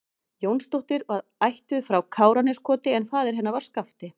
Jónsdóttir og var ættuð frá Káraneskoti en faðir hennar var Skafti